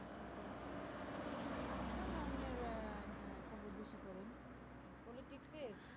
কোন ধরণের আহ আহ খবর বেশি পড়েন politics এর